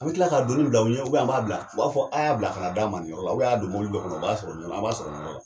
An bɛ kila ka doni bila u ɲɛ, an b'a bila. U b'a fɔ a y'a bila kana d'a man nin yɔrɔ la a y'a don mɔbili dɔ kɔnɔ o b'a sɔrɔ nin yɔrɔ an b'a sɔrɔ nin yɔrɔ la.